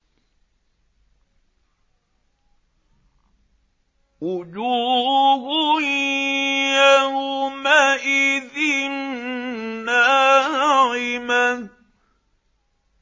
وُجُوهٌ يَوْمَئِذٍ نَّاعِمَةٌ